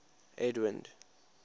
edwind